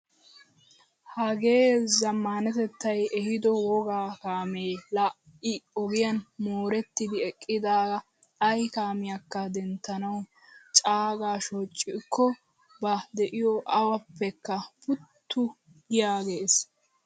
Hagee zammanatettay ehiido wogga kaamee laa I ogiyan moorettidi eqqida ay kaamiyakka denttanawu cagaa shocikko ba de'iyo awappekka puttu giyaggees!